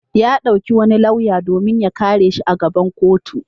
Ya ɗauki wani lauya domin ya kare shi a gaban kotu.